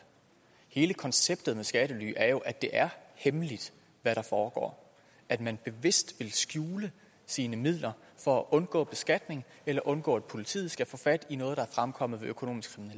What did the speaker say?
hele konceptet med skattely er jo at det er hemmeligt hvad der foregår at man bevidst vil skjule sine midler for at undgå beskatning eller undgå at politiet skal få fat i noget der er fremkommet ved økonomisk